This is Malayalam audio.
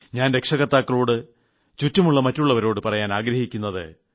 ഞാൻ രക്ഷകർത്താക്കളോട് ചുറ്റുമുളള മറ്റുളളവരോട് പറയാൻ ആഗ്രഹിക്കുന്നത്